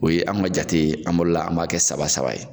O ye an ka jati ye an bolo la an b'a kɛ saba saba ye.